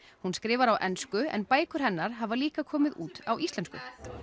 hún skrifar á ensku en bækur hennar hafa líka komið út á íslensku